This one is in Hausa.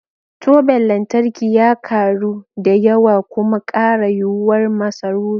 Toben lantarki ya karu da yawa kuma kara yuwuwar masarufi.